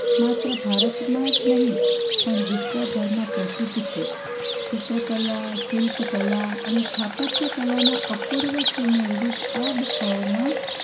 માત્ર ભારતમાં જ નહિ પણ વિશ્વભરમાં પ્રસિદ્ધ છે. ચિત્રકલા, શિલ્પકલા અને સ્થાપત્ય કલાના અપૂર્વ સુમેળરૂપ આ ગુફાઓમાં